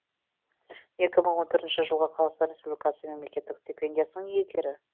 екі мың он төртінші жылғы қазақстан республикасы мемлекеттік стипендиясының иегері